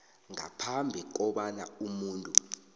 ngaphambi kobana umuntu